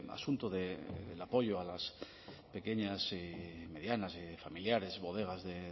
asunto del apoyo a las pequeñas y medianas y familiares bodegas de